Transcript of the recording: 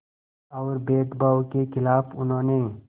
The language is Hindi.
और भेदभाव के ख़िलाफ़ उन्होंने